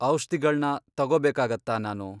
ಔಷ್ಧಿಗಳ್ನ ತಗೋಬೇಕಾಗತ್ತಾ ನಾನು?